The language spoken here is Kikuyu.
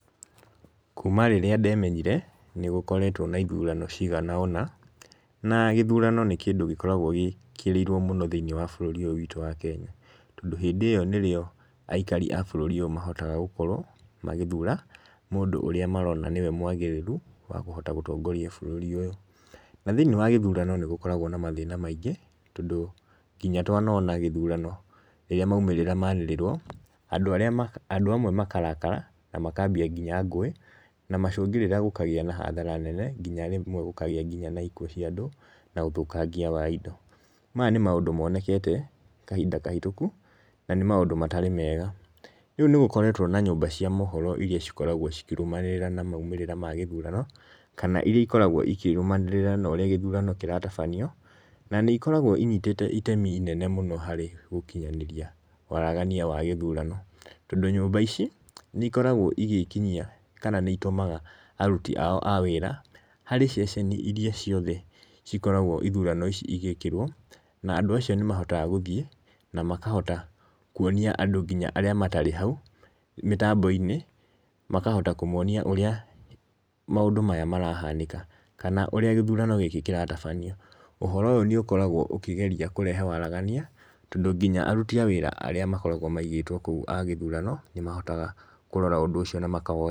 Kuma rĩrĩa ndemenyire nĩgũkoretwo na ithurano cigana ũna. Na gĩthurano nĩ kĩndũ gĩkoragwo gĩkĩrĩirwo mũno thĩ-ini wa bũrũri ũyũ witũ wa Kenya. Tondũ hĩndĩ ĩyo nĩrĩo aikari a bũrũri ũyũ mahotaga gũkorwo magĩthura mũndũ ũrĩa marona niwe mwagĩrĩru wa kũhota gũtongoria bũrũri ũyũ. Na thĩ-inĩ wa gĩthurano nĩ gũkoragwo na mathĩna maingi. Tondũ nginya twanona gĩthurano, rĩrĩa maumĩrĩra manĩrĩrwo andũ amwe makarakara na makambia nginya ngũĩ. Na macũngĩrĩra gũkagĩa na hathara nene, nginya rĩmwe gũkagĩa na ikuũ cia andũ na ũthũkangia wa indo. Maya nĩ maũndũ monekete kahinda kahĩtũku, na nĩ maũndũ matarĩ mega. Rĩu nĩ gũkoretwo na nyũmba cia mohoro iria cikoragwo cikĩrũmanĩrĩra na maumĩrĩra ma gĩthurano, kana iria ikoragwo ikĩrũmanĩrĩra na ũrĩa gĩthurano kĩratabanio. Na nĩ ikoragwo inyitĩte itemi inene mũno harĩ ũkinyanĩria, waragania wa gĩthurano. Tondũ nyũmba ici nĩikoragwo igĩkinyia, kana nĩitumaga aruti ao a wira harĩ ceceni iria ciothe cikoragwo ithurano ici igĩkĩrwo, na andũ acio nĩ mahotaga gũthiĩ, na makahota kũonia andũ nginya arĩa matarĩ hau mĩtambo-inĩ. Makahota kũmonia ũrĩa maũndũ maya marahanĩka, kana ũrĩa gĩthurano gĩkĩ kĩratabanio. Ũhoro ũyũ nĩũkoragwo ũkĩgeria kũrehe waragania tondũ nginya aruti a wĩra arĩa makoragwo maigĩtwo kũndũ kũu a gĩthurano nĩ mahotaga kũrora ũndũ ũcio na maka...